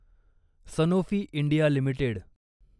Sanofi India limited